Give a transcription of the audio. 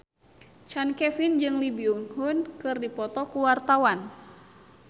Chand Kelvin jeung Lee Byung Hun keur dipoto ku wartawan